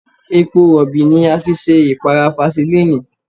Epo Rọ̀bì ni a fi ṣe ìpara fasilínìì.